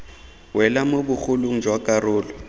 wela mo bogolong jwa karolo